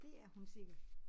Det er hun sikkert